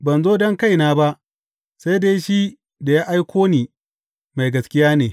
Ban zo don kaina ba, sai dai shi da ya aiko ni mai gaskiya ne.